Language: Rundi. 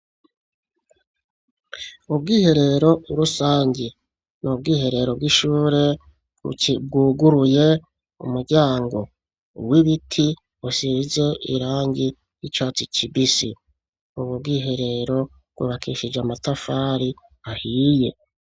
Ubwiherero rusangi n'ubwiherero bw'ishure bwuguruye umuryango w'ibiti usize irangi ry'icatsi kibisi . Ubwo bwiherero bwubakishije amatafari ahiye.